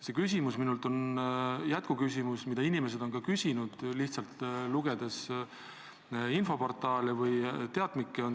See küsimus on jätkuküsimus, mida inimesed on ka küsinud, olles lugenud infoportaale või teatmikke.